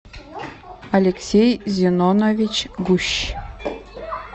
алексей зенонович гущ